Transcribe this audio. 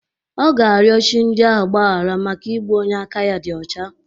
Ọ ga-arịọ chi ndị ahụ mgbahara maka igbu onye aka ya dị ọcha.